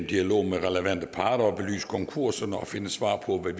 dialog med relevante parter at belyse konkurserne og finde svar på hvad